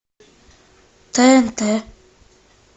тнт